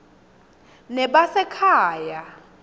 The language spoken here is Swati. nebasekhaya